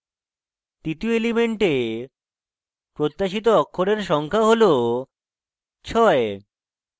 তৃতীয় element প্রত্যাশিত অক্ষরের সংখ্যা হল ছয়